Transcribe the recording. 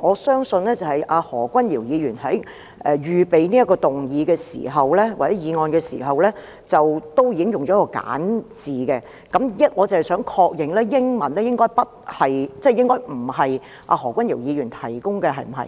我相信何君堯議員在預備這項議案時，已經使用簡化版，我只是想確認，英文譯本應該不是由何君堯議員提供的，對嗎？